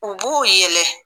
U b'u yɛlɛ.